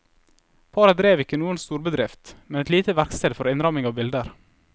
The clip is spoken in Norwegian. Paret drev ikke noen storbedrift, men et lite verksted for innramming av bilder.